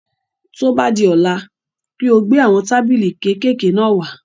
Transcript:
Tó bá di ọ̀la, kí o gbé àwọn tábìlì kékèké náà wá.